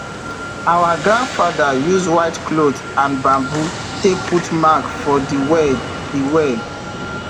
our grandfather use white cloth and bamboo take put mark for de well de well